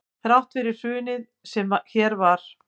Þrátt fyrir hrunið sem hér varð